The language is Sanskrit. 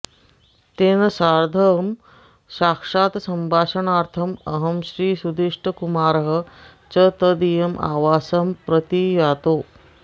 तेन सार्धं साक्षात्सम्भाषणार्थम् अहं श्रीसुधीष्टकुमारः च तदीयम् आवासं प्रति यातौ